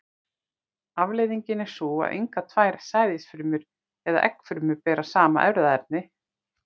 Afleiðingin er sú að engar tvær sæðisfrumur eða eggfrumur bera sama erfðaefni.